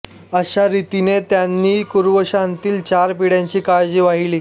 अशा रीतीने त्यांनी कुरुवंशातील चार पिढ्यांची काळजी वाहिली